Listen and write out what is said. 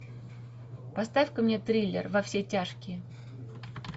поставь ка мне триллер во все тяжкие